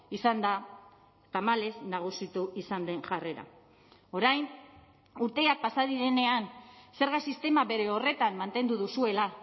izan da tamalez nagusitu izan den jarrera orain urteak pasa direnean zerga sistema bere horretan mantendu duzuela